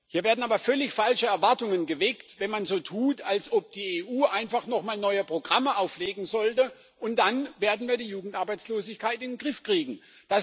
Hier werden aber völlig falsche Erwartungen geweckt, wenn man so tut, als ob die EU einfach noch mal neue Programme auflegen sollte und wir dann die Jugendarbeitslosigkeit in den Griff kriegen werden.